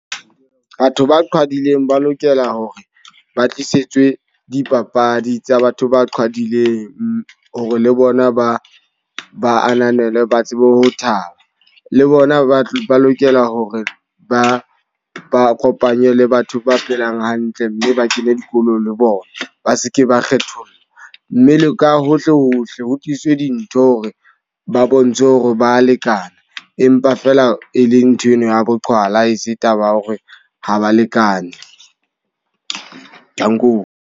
Batho ba qhwadileng ba lokela hore ba tlisetswe dipapadi tsa batho ba qhwadileng. Hore le bona ba ba ananelwe ba tsebe ho thaba. Le bona ba lokela hore ba ba kopanye le batho ba phelang hantle mme ba kene dikolo le bona. Ba seke ba kgethollo. Mme le ka hohle hohle ho tliswe dintho re ba bontshe hore ba lekana empa fela e le ntho eno ya boqhwala e se taba ya hore ha ba lekane. Danko.